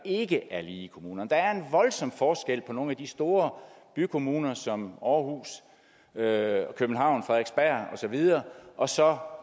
ikke er lige i kommunerne der er en voldsom forskel på nogle af de store bykommuner som og så videre og så